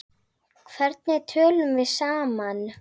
Hvernig tölum við saman?